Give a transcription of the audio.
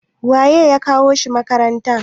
waye ya kawo shi makaranta?